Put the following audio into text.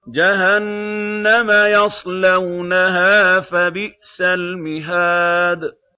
جَهَنَّمَ يَصْلَوْنَهَا فَبِئْسَ الْمِهَادُ